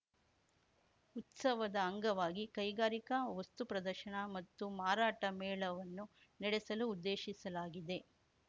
ಉತ್ಸವದ ಅಂಗವಾಗಿ ಕೈಗಾರಿಕಾ ವಸ್ತು ಪ್ರದರ್ಶನ ಮತ್ತು ಮಾರಾಟ ಮೇಳವನ್ನು ನೆಡೆಸಲು ಉದ್ದೇಶಿಸಲಾಗಿದೆ